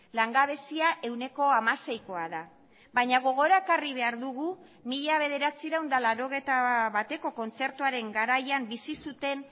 langabezia ehuneko hamaseikoa da baina gogora ekarri behar dugu mila bederatziehun eta laurogeita bateko kontzertuaren garaian bizi zuten